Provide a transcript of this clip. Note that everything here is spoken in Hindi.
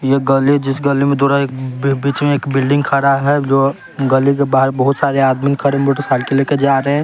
ये गली जिस गली में थोड़ा एक बी बीच में एक बिल्डिंग खड़ा है जो गली के बाहर बहुत सारे आदमी खड़े मोटरसाइकिल ले के जा रहे हैं।